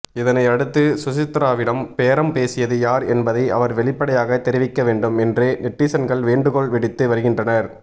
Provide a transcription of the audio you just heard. இதனை அடுத்து சுசித்ராவிடம் பேரம் பேசியது யார் என்பதை அவர் வெளிப்படையாக தெரிவிக்கவேண்டும் என்று நெட்டிசன்கள் வேண்டுகோள் விடுத்து வருகின்றனர்